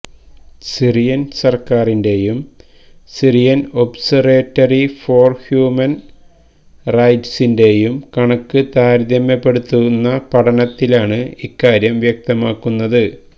Syrian സര്ക്കാരിന്റെയും Syrian Observatory for Human റൈറ്റ്സിന്റെയും കണക്ക് താരതമ്യപ്പെടുത്തുന്ന പഠനത്തിലാണ് ഇക്കാര്യം വ്യക്തമാകുന്നത്